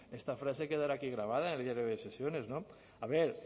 esta frase quedará aquí grabada en el diario de sesiones a ver